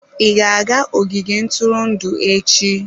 Ị ga-aga ogige ntụrụndụ echi?